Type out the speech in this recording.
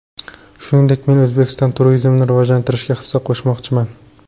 Shuningdek, men O‘zbekistonda turizmni rivojlantirishga hissa qo‘shmoqchiman.